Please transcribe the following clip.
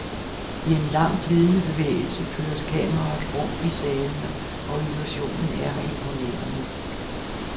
I en lang glidende bevægelse føres kameraet rundt i salene og illusionen er imponerende.